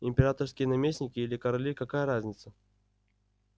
императорские наместники или короли какая разница